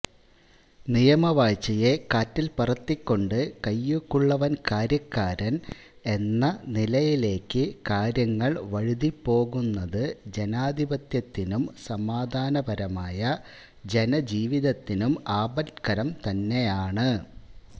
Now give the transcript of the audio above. നിയമവാഴ്ചയെ കാറ്റില് പറത്തികൊണ്ട് കൈയ്യൂക്കുള്ളവന് കാര്യക്കാരന് എന്ന നിലയിലേക്കു കാര്യങ്ങള് വഴുതിപോകുന്നത് ജനാധിപത്യത്തിനും സമാധാനപരമായ ജനജീവിതത്തിനും ആപത്കരം തന്നെയാണ്